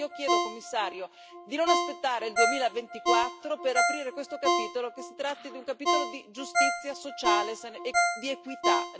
Quindi io chiedo, signor Commissario, di non aspettare il 2024 per aprire questo capitolo e che si tratti di un capitolo di giustizia sociale e di equità.